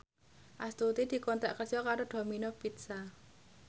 Astuti dikontrak kerja karo Domino Pizza